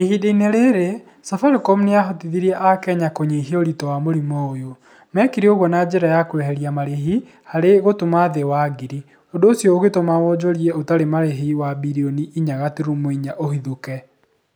Ihinda-inĩ rĩrĩ, Safaricom nĩ yahotithirie akenya kũnyihia ũritũi wa mũrimũ ũyũ. Mekire ũguo na njĩra ya kweheria marĩhi harĩ gũtũma thĩ wa ngiri. ũndũ ũcio ũgĩtũma wonjoria ũtarĩ marĩhi wa birioni inya gaturumo inya ũhũthĩke.